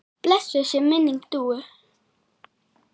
Blessuð sé minning Dúu.